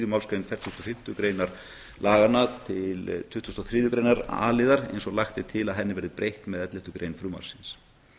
málsgrein fertugustu og fimmtu greinar laganna til tuttugustu og þriðju greinar a liðar eins og lagt er til að henni verði breytt með elleftu grein frumvarpsins